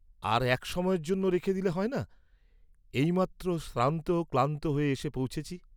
আর এক সময়ের জন্য রেখে দিলে হয় না, এই মাত্র শ্রান্ত ক্লান্ত হয়ে এসে পৌঁছেছি।